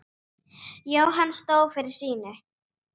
Jóhann stóð fyrir sínu.